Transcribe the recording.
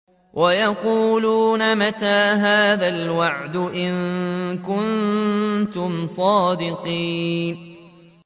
وَيَقُولُونَ مَتَىٰ هَٰذَا الْوَعْدُ إِن كُنتُمْ صَادِقِينَ